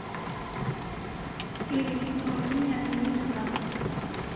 сири помоги мне отменить заказ